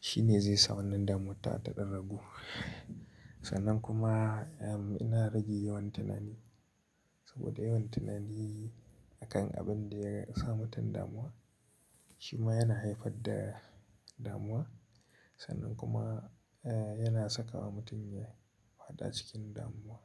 shine zai sa wannan damuwat ta ɗan ragu. Sannan kuma, eh, ina rage yawan tunani saboda yawan tunani a kan abin da ya sa mutum damuwa shi ma yana haifar da damuwa. Sannan kuma, eh, yana saka wa mutum ya faɗa cikin damuwa.